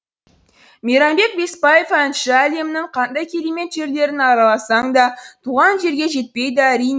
мейрамбек беспаев әнші әлемнің қандай керемет жерлерін араласаң да туған жерге жетпейді әрине